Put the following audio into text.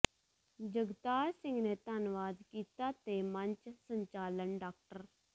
ਜਗਤਾਰ ਸਿੰਘ ਨੇ ਧੰਨਵਾਦ ਕੀਤਾ ਤੇ ਮੰਚ ਸੰਚਾਲਨ ਡਾ